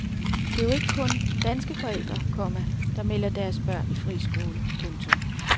Det er jo ikke kun danske forældre, komma der melder deres børn i friskole. punktum